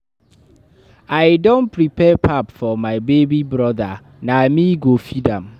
I don prepare pap for my baby broda, na me go feed am.